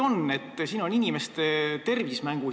Siin on mängus inimeste tervis.